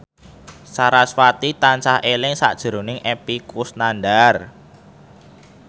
sarasvati tansah eling sakjroning Epy Kusnandar